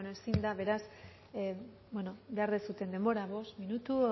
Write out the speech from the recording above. bueno ezin da beraz behar duzuen denbora bost minutu